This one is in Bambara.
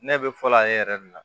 Ne bɛ fɔlɔ ale yɛrɛ de la